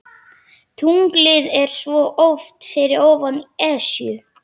Tunglið er svo oft fyrir ofan Esjuna.